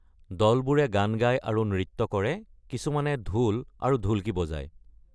দলবোৰে গান গায় আৰু নৃত্য কৰে, কিছুমানে ঢোল আৰু ঢুল্‌কী বজাইছে।